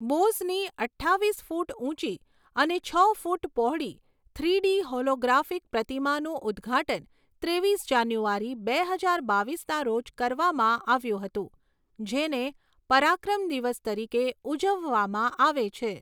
બોઝની અઠ્ઠાવીસ ફૂટ ઊંચી અને છ ફૂટ પહોળી થ્રીડી હોલોગ્રાફિક પ્રતિમાનું ઉદ્ઘાટન ત્રેવીસ જાન્યુઆરી, બે હજાર બાવીસના રોજ કરવામાં આવ્યું હતું, જેને પરાક્રમ દિવસ તરીકે ઉજવવામાં આવે છે.